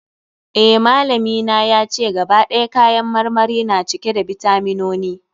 Eh, malami na yace, gaba ɗaya kayan marmari na cike da bitaminoni.